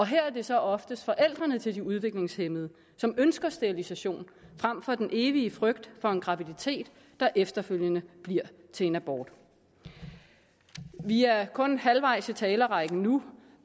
her er det så oftest forældrene til de udviklingshæmmede som ønsker sterilisation frem for den evige frygt for en graviditet der efterfølgende bliver til en abort vi er kun halvvejs i talerrækken nu